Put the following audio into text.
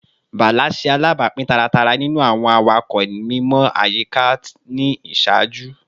Bala ṣe alabapin taratara ninu awọn awakọ mimọ ayika ni iṣaaju